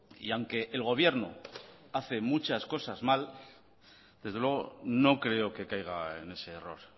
y aunque el gobierno hace muchas cosas mal desde luego no creo que caiga en ese error